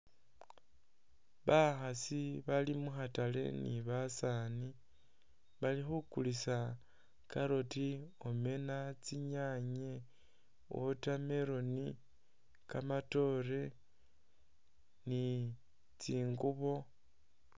Bakhaasi bali mu khatale ni basaani bali khukulisa carrot, omena, tsinyanye, watermelon, kamatoore ni tsingubo.